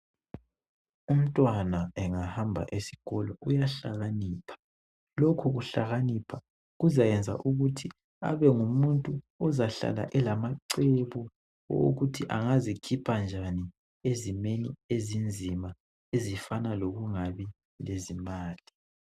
Umntwana engahamba esikolo uyahlakanipha lokhu kuhlakanipha kuzayenza ukuthi abengumuntu ozahlala elamacebo owokutho angizikhipha njani ezimeni ezinzima ezifana lokungabi lezimali.